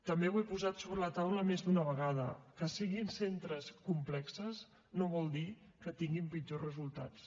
també ho he posat sobre la taula més d’una vegada que siguin centres complexos no vol dir que tinguin pitjors resultats